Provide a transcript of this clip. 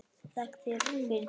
Þakka þér fyrir bréfið!